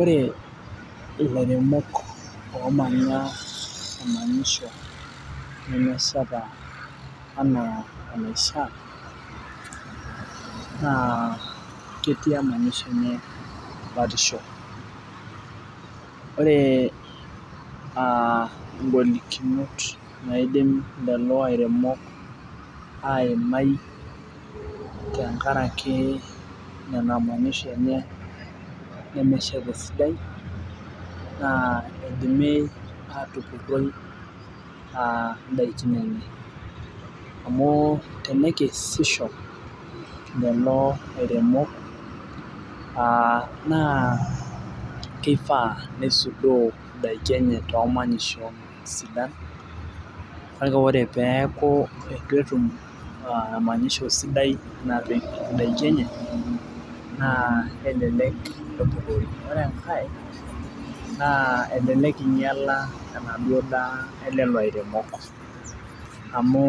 ore ilairemok lemanya emanyisho nemeshata aitobiraki naa ketii emanyisho enye batisho , ore igolikinot naidim lelo aremok aimai tenkaraki nena manyisho enye nemeshata esidai naa idimi aatupuroi aatupuroi idakikin enye amu tenekesisho lelo airemok, naa kifaa nisuduoo idaki enye too manyishon sidan kake ore pee eeku etu etm emanyisho sidai napik idaki enye naa kelelek pee epurori , ore enkae naa elelek ing'iala enaduo daa olairemok , ore enkae amu